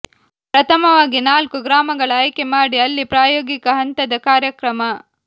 ಪ್ರಥಮವಾಗಿ ನಾಲ್ಕು ಗ್ರಾಮಗಳ ಆಯ್ಕೆ ಮಾಡಿ ಅಲ್ಲಿ ಪ್ರಾಯೋಗಿಕ ಹಂತದ ಕಾರ್ಯಕ್ರಮ